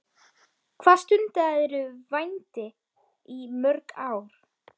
Hvað stundaðirðu vændi í mörg ár?